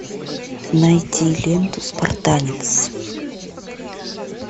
найти ленту спартанец